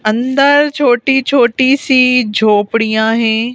अंदर छोटी छोटी सी झोपड़ियाँ हैं।